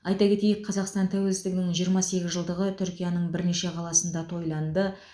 айта кетейік қазақстан тәуелсіздігінің жиырма сегіз жылдығы түркияның бірнеше қаласында тойланды